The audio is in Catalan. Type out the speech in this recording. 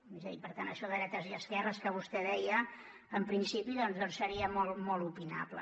és a dir per tant això de dretes i esquerres que vostè deia en principi seria molt opinable